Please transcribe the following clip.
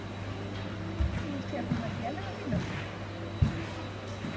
Þú ert hérna með félaga þínum?